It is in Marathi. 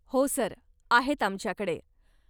हो सर, आहेत आमच्याकडे.